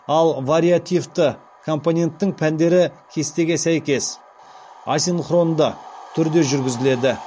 ал вариативті компоненттің пәндері кестеге сәйкес асинхронды түрде жүргізіледі